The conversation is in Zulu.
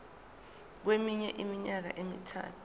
kweminye iminyaka emithathu